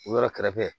O yɔrɔ kɛrɛfɛ